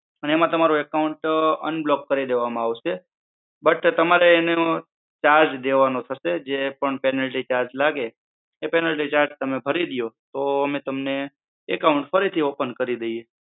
અને એમાં તમારું account unblocked કરી દેવા માં આવશે but તમારે એને charge દેવાનું થશે જે પણ penalty charge લાગે તે penalty charge ભરી દયો તો અમે તમને account ફરીથી open કરી દઈએ.